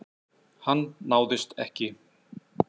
Hann náðist ekki.